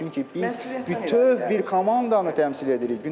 Çünki biz bütöv bir komandanı təmsil edirik, Günel.